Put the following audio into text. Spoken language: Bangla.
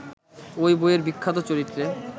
ওই বইয়ের বিখ্যাত চরিত্রে